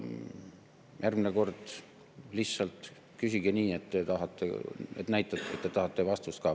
Järgmine kord lihtsalt küsige nii, et te näitate, et te tahate vastust ka.